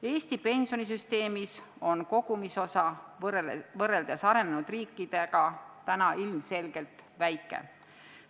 Eesti pensionisüsteemis on kogumisosa arenenud riikidega võrreldes täna ilmselgelt väike.